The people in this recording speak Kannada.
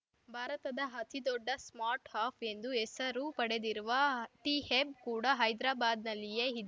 ಭಾರತದ ಅತಿದೊಡ್ಡ ಸ್ಮಾರ್ಟ್‌ ಅಪ್‌ ಎಂದು ಹೆಸರು ಪಡೆದಿರುವ ಟಿಹೆಬ್‌ ಕೂಡ ಹೈದ್ರಾಬಾದ್‌ನಲ್ಲಿಯೇ ಇ